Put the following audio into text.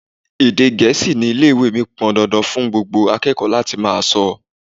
Èdè Gẹ̀ẹ́sì ni Ilé-ìwé mí pọn dandan fún gbogbo akẹ́kọ̀ọ́ láti máa sọ.